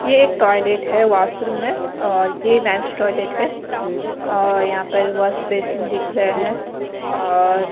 ये एक टॉयलेट है वाशरूम है और ये मेंस टॉयलेट है और यहाँ पर वाशबेसिन दिख रहा है और--